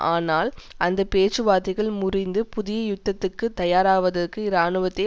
ஆனால் அந்த பேச்சுவார்த்தைகள் முறிந்து புதிய யுத்தத்துக்கு தயாராவதற்கு இராணுவத்தை